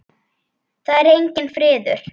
Það er enginn friður!